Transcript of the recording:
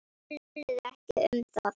Töluðu ekki um það.